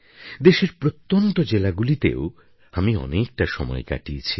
দেশের প্রত্যন্ত জেলাগুলিতেও আমি অনেকটা সময় কাটিয়েছি